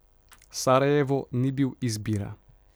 Sarajevo ni bil izbira.